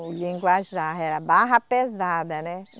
O linguajar era barra pesada, né?